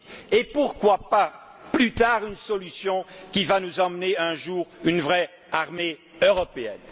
et pourquoi pas, plus tard, une solution qui nous mènera un jour vers une vraie armée européenne.